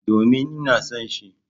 Domin, ina son shi.